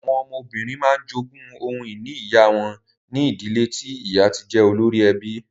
Àwọn ọmọbìnrin máa ń jogún ohun ìní ìyá wọn ní ìdílé tí ìyá ti jẹ́ olórí ẹbí.